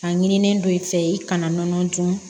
A ɲinilen don i fɛ yen i kana nɔnɔ dun